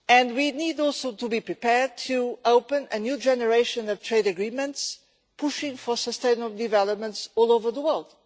We also need to be prepared to open a new generation of trade agreements, pushing for sustainable development all over the world.